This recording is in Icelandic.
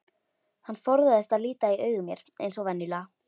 Hann forðaðist að líta í augu mér eins og venjulega.